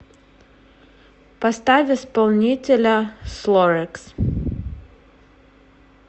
поставь исполнителя слорэкс